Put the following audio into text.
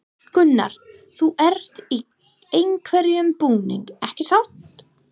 Gunnar: Þú ert í einhverjum búning, ekki satt?